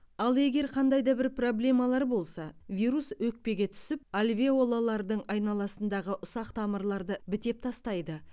ал егер қандай да бір проблемалар болса вирус өкпеге түсіп альвеолалардың айналасындағы ұсақ тамырларды бітеп тастайды